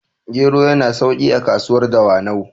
gero yana sauki a kasuwar dawanau